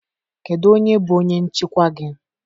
Kedu onye bụ onye nchịkwa gị?